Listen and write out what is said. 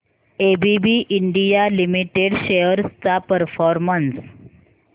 ABB India limited shares चा performance